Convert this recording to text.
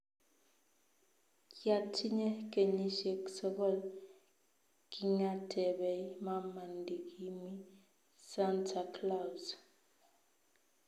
Kyatinyei kenyishiek sogol kingatebei mama ndikimi Santa Claus